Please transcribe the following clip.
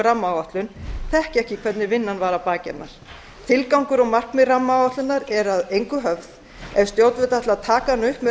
rammaáætlun þekkja ekki hvernig vinnan var að baki hennar tilgangur og markmið rammaáætlunar er að engu höfð ef stjórnvöld ætla að taka hana upp með